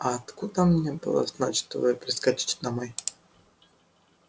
а откуда мне было знать что вы прискачете домой